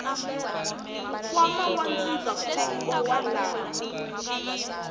nkwama wa ndzindzakhombo wa lava